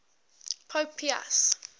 pope pius